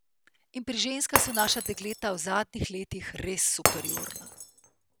In pri ženskah so naša dekleta v zadnjih letih res superiorna.